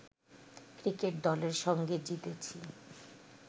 cricket দলের সঙ্গে জিতেছি